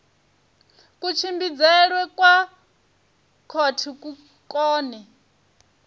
kutshimbidzelwe kwa khothe ku kone